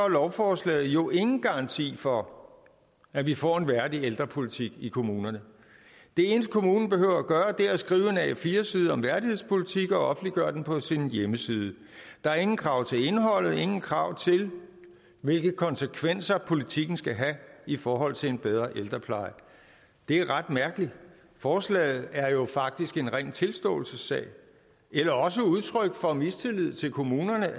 lovforslaget jo ingen garanti for at vi får en værdig ældrepolitik i kommunerne det eneste kommunen behøver gøre er at skrive en a4 side om værdighedspolitik og offentliggøre den på sin hjemmeside der er ingen krav til indholdet ingen krav til hvilke konsekvenser politikken skal have i forhold til en bedre ældrepleje det er ret mærkeligt forslaget er jo faktisk en ren tilståelsessag eller også et udtryk for mistillid til kommunerne